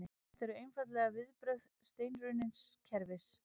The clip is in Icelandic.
Þetta eru einfaldlega viðbrögð steinrunnins kerfis